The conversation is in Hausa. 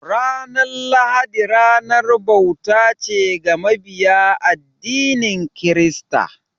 Ranar lahadi ranar bauta ce ga mabiya addinin kirista.